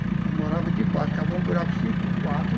Ela morava debaixo, ficava um buraco cinco por quatro,